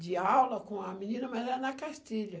De aula com a menina, mas era na cartilha.